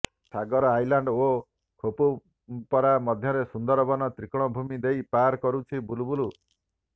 ସାଗର Island ଓ ଖେପୁପରା ମଧ୍ୟରେ ସୁନ୍ଦରବନ ତ୍ରିକୋଣଭୂମି ଦେଇ ପାର କରୁଛି ବୁଲବୁଲ୍